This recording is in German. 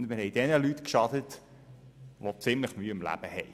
Dann werden wir jenen Leuten geschadet haben, die ziemlich Mühe im Leben haben.